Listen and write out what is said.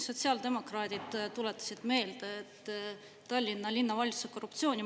Sotsiaaldemokraadid tuletasid meelde Tallinna linnavalitsuse korruptsiooni.